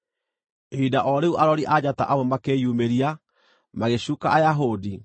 Ihinda o rĩu arori a njata amwe makĩyumĩria, magĩcuuka Ayahudi,